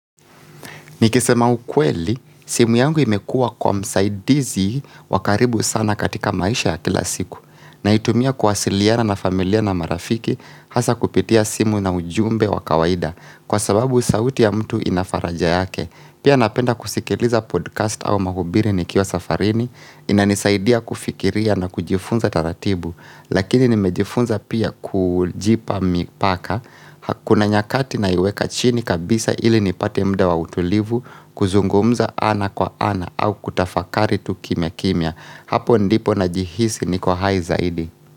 Nikisema ukweli simu yangu imekua kwa msaidizi wa karibu sana katika maisha ya kila siku Naitumia kuwasiliana na familia na marafiki hasa kupitia simu na ujumbe wa kawaida kwa sababu sauti ya mtu inafaraja yake Pia napenda kusikiliza podcast au mahubiri ni kiwa safarini inanisaidia kufikiria na kujifunza taratibu lakini nimejifunza pia kujipa mipaka kuna nyakati naiweka chini kabisa ili nipate muda wa utulivu kuzungumza ana kwa ana au kutafakari tu kimya kimya hapo ndipo najihisi niko hai zaidi.